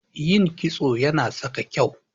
Yin kitso Yana sa ka kyau.